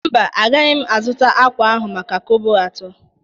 Mba, agaghị m azụta ákwà ahụ maka kobo atọ